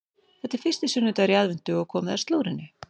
Það er fyrsti sunnudagur í aðventu og komið að slúðrinu.